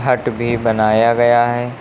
हट भी बनाया गया है।